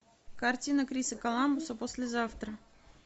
картина криса коламбуса послезавтра